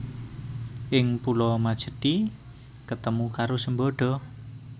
Ing pulo Majethi ketemu karo Sembada